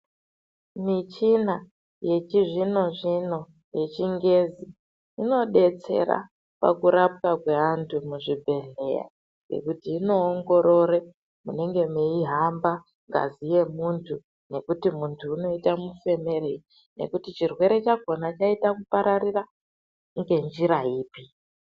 Michina yechizvino-zvino yechingezi inobetsera pakurapwa kweantu muzvibhedhlera. Ngekuti inoongorore munenge meihamba ngazi yemuntu. Ngekuti muntu unoita mufemerei nekuti chirwere chakona chiita kupararira ngejira ipi.